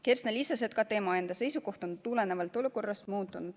Kersna lisas, et ka tema enda seisukoht on tulenevalt olukorrast muutunud.